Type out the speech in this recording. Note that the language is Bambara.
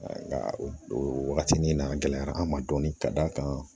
Nka o wagati nin na a gɛlɛyara an ma dɔɔni ka d'a kan